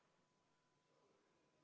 V a h e a e g